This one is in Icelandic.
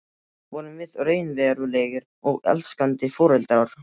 Vorum við raunverulegir og elskandi foreldrar?